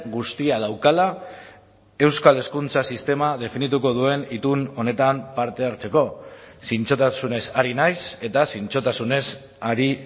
guztia daukala euskal hezkuntza sistema definituko duen itun honetan parte hartzeko zintzotasunez ari naiz eta zintzotasunez ari